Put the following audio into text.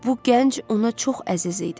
Bu gənc ona çox əziz idi.